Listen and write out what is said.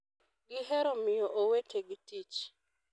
...gihero miyo owetegi tich...'